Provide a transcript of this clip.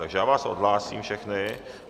Takže já vás odhlásím všechny.